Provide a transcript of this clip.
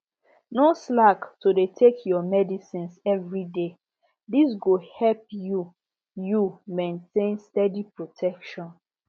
no slack to dey take your medicines everyday this one go help you you maintain steady protection